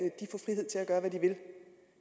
gøre kan give